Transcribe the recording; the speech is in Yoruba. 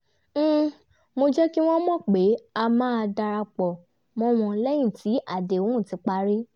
mo jẹ́ kí wọ́n mọ̀ pé a máa darapọ̀ mọ́ wọn lẹ́yìn tí àdéhùn ti parí